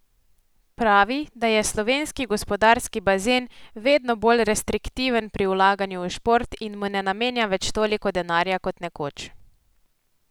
Pravi, da je slovenski gospodarski bazen vedno bolj restriktiven pri vlaganju v šport in mu ne namenja več toliko denarja kot nekoč.